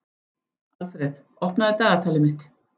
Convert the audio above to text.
Alfreð, opnaðu dagatalið mitt.